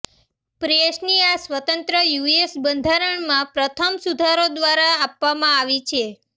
પ્રેસની આ સ્વતંત્રતા યુએસ બંધારણમાં પ્રથમ સુધારો દ્વારા આપવામાં આવી છે